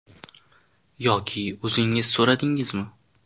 Yoki o‘zingiz so‘radingizmi?